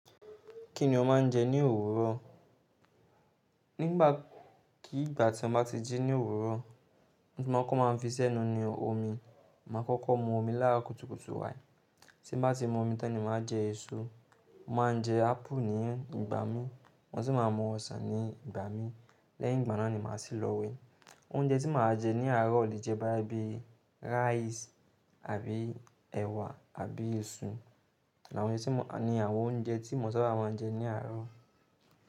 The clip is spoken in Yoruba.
Kí ni o máa ń jẹ ní òwúrọ̀? Nígbà kì í gbà tí mo bá ti jí ní òwúrọ̀, ohun tí mo kọ́kọ́ máa ń fi i sẹ́nu ni omi. Máa kọ́kọ́ mu omi láàárọ̀ kùtùkùtù wáì. Tí mo bá ti mu omi tán ni màá jẹ èso. Mo máa ń jẹ ápù ní ìgbà mí, mo sì máa mu ọsàn ní ìgbà mí. Lẹ́yìn ìgbà náà ni màá sì lọ wẹ̀. Oúnjẹ tí màá jẹ ní àárọ̀ lè jẹ́ bá bí ráìsì àbí ẹ̀wà àbí ìṣù. Àwọn èyí tí mo kà ni àwọn oúnjẹ tí mo sábà máa ń jẹ ní àárọ̀